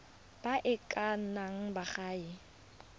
ba e ka nnang baagi